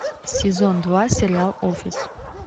сезон два сериал офис